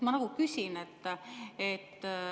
Ma küsin.